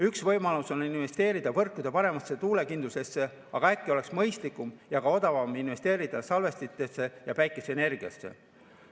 Üks võimalus on investeerida võrkude paremasse tuulekindlusesse, aga äkki oleks mõistlikum ja ka odavam investeerida salvestistesse ja päikeseenergiasse.